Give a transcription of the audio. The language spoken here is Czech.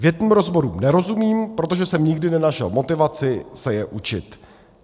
Větným rozborům nerozumím, protože jsem nikdy nenašel motivaci se je učit.